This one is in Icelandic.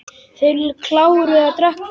Þeir kláruðu að drekka kaffið.